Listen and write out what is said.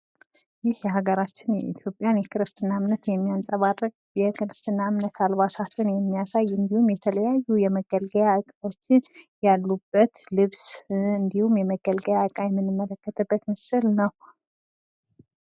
የአገራችን ኢትዮጵያ የክርስትና እምነት የሚያንፀባርቅ የክርስትና እምነት አልባሳትን የሚያሳይ እንዲሁም የተለያዩ የመገልገያ ዕቃዎች ያሉበት ልብስ እንዲሁም የመገልገያ ዕቃ የምንመለከትበት ምስል ነው።